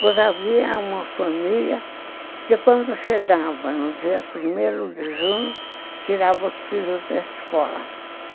Pois havia uma família que quando chegava no dia primeiro de junho, tirava os filhos da escola.